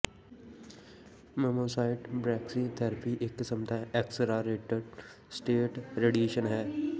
ਮਮੋਸਾਈਟ brachytherapy ਇਕ ਕਿਸਮ ਦਾ ਐਕਸਲਰੇਟਿਡ ਸਟੈਟ ਰੇਡੀਏਸ਼ਨ ਹੈ